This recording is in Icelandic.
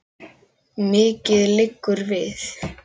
Mikið liggur við!